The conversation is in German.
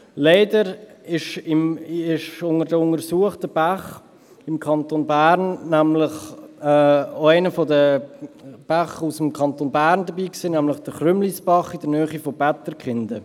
Leider war bei den untersuchten Bächen auch einer aus dem Kanton Bern dabei, nämlich der Chrümlisbach in der Nähe von Bätterkinden.